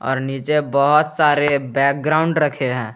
और नीचे बहोत सारे बैकग्राउंड रखे हैं।